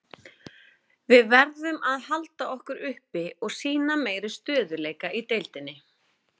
Við verðum að halda okkur uppi og sýna meiri stöðugleika í deildinni.